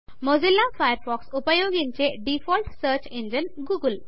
Mozilla Firefox ఉపయోగించే default search engine Google